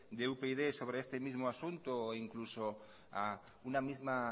de upyd sobre este mismo asunto e incluso a una misma